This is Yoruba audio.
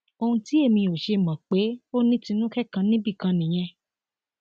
ohun tí èmi ò ṣe mọ pé ó ní tinúkẹ kan níbì kan nìyẹn